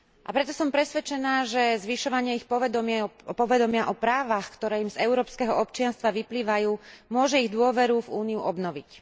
Preto som presvedčená, že zvyšovanie ich povedomia o právach, ktoré im z európskeho občianstva vyplývajú, môže ich dôveru v Úniu obnoviť.